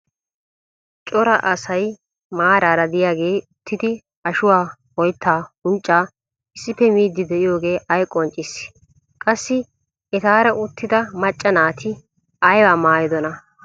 cora asay maarara diyaagee uttidi ashuwaa, oyttaa, unccaa issippe miidi diyooge ay qonccissii? qassi etaara uttida macca naati aybaa maayidonaa?